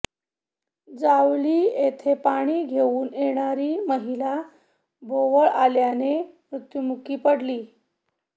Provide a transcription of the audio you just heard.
जावली येथे पाणी घेऊन येणारी महिला भोवळ आल्याने मृत्युमुखी पडली